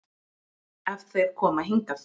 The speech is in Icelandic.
Ef þeir koma hingað.